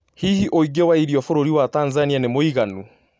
Hihi ũigi wa irio bũrũri wa Tanzania nĩmũiganu?